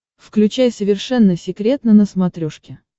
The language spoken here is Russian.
включай совершенно секретно на смотрешке